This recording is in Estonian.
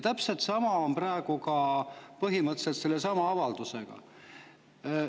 Täpselt sama on praegu põhimõtteliselt selle avaldusega.